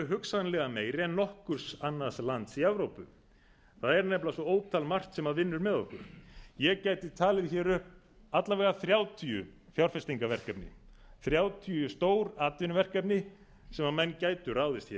hugsanlega meiri en nokkurs annars lands í evrópu það er nefnilega svo ótal margt sem vinnur með okkur ég gæti talið hér upp alla vega þrjátíu fjárfestingarverkefni þrjátíu stór atvinnuverkefni sem menn gætu ráðist hér